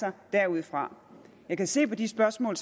derudfra jeg kan se på de spørgsmål